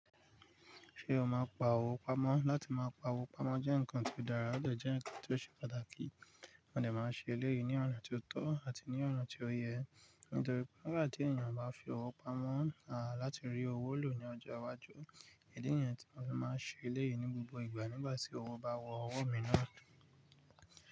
Ṣé o máa pa owó pamọ́? Látí máa pa owó pamọ́ jẹ́ nǹkan tí ó dára ode jẹ́ nǹkan tí ó ṣe pàtàkì. Mo dè máa n ṣe eléyìí ní ọ̀nà tí ó tọ́ àti ní ọ̀nà tí ó yẹ, nítorí pé nígbà tí ènìyàn bá fi owó pamọ́ à láti rí owó lò ní ọjọ́ iwájú, èdí ènìyàn tí wọn lè máa ṣe eléyìí ní gbogbo ìgbà nígbà tí owó bá wọ ọwọ́ mi náà.